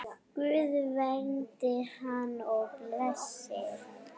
Guð verndi hana og blessi.